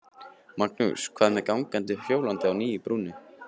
Magnús: Hvað með gangandi og hjólandi á nýju brúnni?